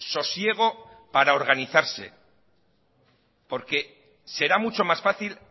sosiego para organizarse porque será mucho más fácil